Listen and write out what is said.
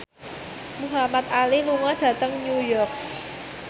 Muhamad Ali lunga dhateng New York